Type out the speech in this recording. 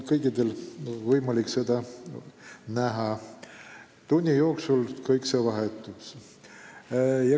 Kõikidel on võimalik seda vaadata, tunni jooksul seal kõik vahetub.